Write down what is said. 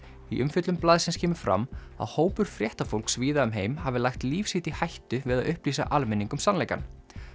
í umfjöllun blaðsins kemur fram að hópur víða um heim hafi lagt líf sitt í hættu við að upplýsa almenning um sannleikann